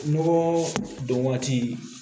Nɔgɔ don waati